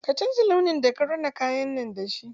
Ka canza launin da ka rina kayan nan da shi!